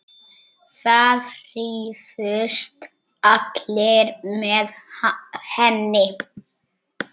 Það hrifust allir með henni.